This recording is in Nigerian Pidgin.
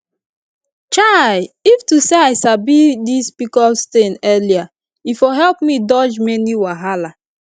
chai if to say i sabi this pcos thing early e for help me dodge many wahala